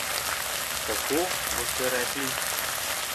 Kako, boste rekli?